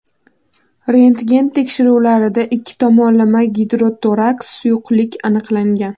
rentgen tekshiruvlarida ikki tomonlama gidrotoraks suyuqlik aniqlangan.